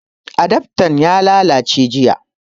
Adaftan ya lallace jiya